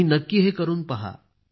तुम्ही नक्की हे करून पहा